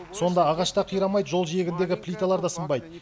сонда ағаш та қирамайды жол жиегіндегі плиталар да сынбайды